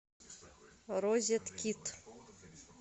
розеткед